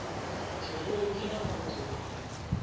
tshirunzi na u mu ṱhonifha